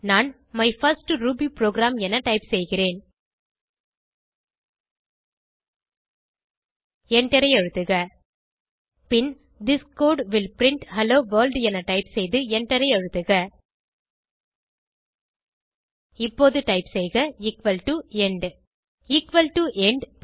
நான் my first Ruby program என type செய்கிறேன் எண்டரை அழுத்துக பின் this code will print hello world என டைப் செய்து எண்டரை அழுத்துக இப்போது டைப் செய்க equal to end equal to end